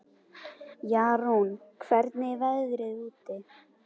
Jarún, hvernig er veðrið úti?